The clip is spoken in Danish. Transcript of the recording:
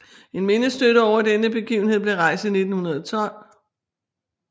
En mindestøtte over denne begivenhed blev rejst i 1912